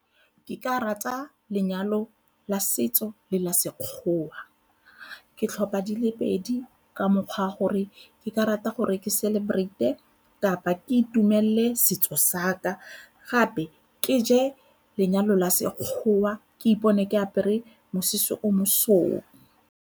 Ke ka rata lenyalo la setso le la Sekgowa. Ke tlhopha dile pedi ka mokgwa a gore ke ka rata gore ke celebrate-e kapa ke itumelele setso sa ka gape ke je lenyalo la Sekgowa ke ipone ke apere mosese o mosweu.